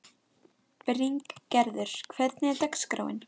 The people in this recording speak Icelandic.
Bryngerður, hvernig er dagskráin?